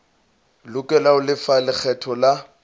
lokela ho lefa lekgetho la